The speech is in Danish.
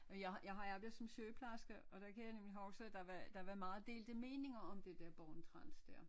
Jeg har jeg har arbejdet som sygeplejerske og der kan jeg nemlig huske at der var der var meget delte meninger om det der Born-Trans dér